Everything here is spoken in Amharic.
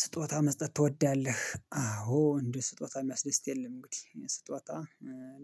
ስጦታ መስጠት ትወዳለህ? አዎ እንደ ስጦታ የሚያስደስት የለም እንግዲህ ስጦታ